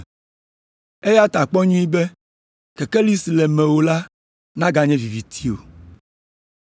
Eya ta kpɔ nyuie be kekeli si le mewò la naganye viviti o.